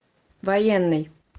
военный